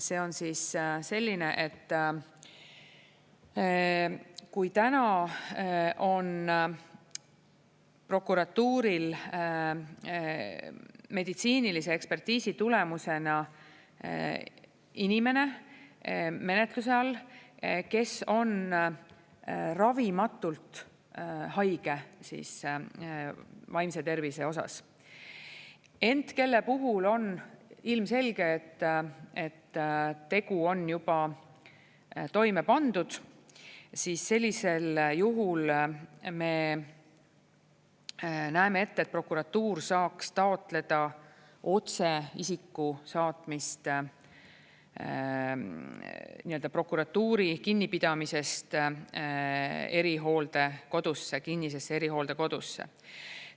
See on siis selline, et kui täna on prokuratuuril meditsiinilise ekspertiisi tulemusena inimene menetluse all, kes on ravimatult haige vaimse tervise osas, ent kelle puhul on ilmselge, et et tegu on juba toime pandud, siis sellisel juhul me näeme ette, et prokuratuur saaks taotleda otse isiku saatmist prokuratuuri kinnipidamisest erihooldekodusse, kinnisesse erihooldekodusse.